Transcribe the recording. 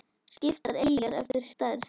Skiptar eyjar eftir stærð